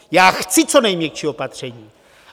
Já chci co nejměkčí opatření.